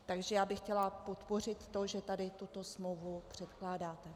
Takže já bych chtěla podpořit to, že tady tuto smlouvu předkládáte.